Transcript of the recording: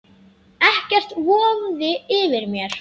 Ekkert vofði yfir mér.